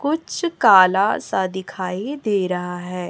कुछ काला सा दिखाई दे रहा है।